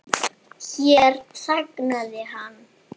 Hér þagnaði hann.